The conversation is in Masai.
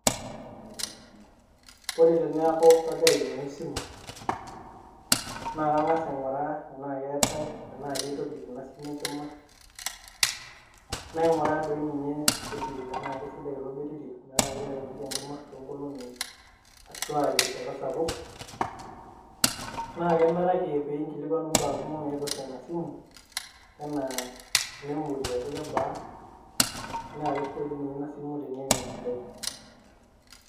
Ore teneaku agira ainyang'u esimu naa kang'as aing'uraa tanaa keatai tanaa keitobik ina simu enkima. Naingoraa doi ninye olbetiri tanaa sidai ilo betiri ometaa kelo aitobik enkima too nkolong'i, ashu um te rishat sapuk. Naake enaraki piinkilikwanu imbaa kumok naipirta ina esimu, anaa memory ejo kebaa naake sidai dei ninye ina esimu ana mesidai.